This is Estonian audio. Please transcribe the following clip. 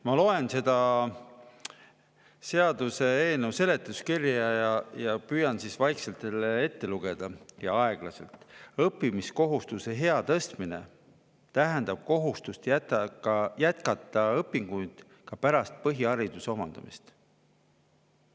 Ma loen seaduseelnõu seletuskirja ning püüan teile vaikselt ja aeglaselt siit ette lugeda: "Õppimiskohustuse ea tõstmine tähendab kohustust jätkata õpinguid ka pärast põhihariduse omandamist.